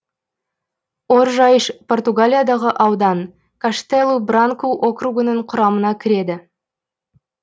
оржайш португалиядағы аудан каштелу бранку округінің құрамына кіреді